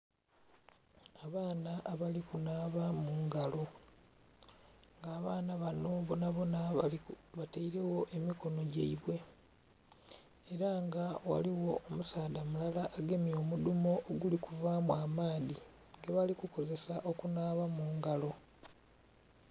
Abaana abali kunhaba mungalo nga abaana banho bonabona batairegho emikono gyaibwe era nga ghaligho omusaadha mulala agemye omudhumo oguli kuvamu amaadhi gebali kukozesa okunhaba mungalo.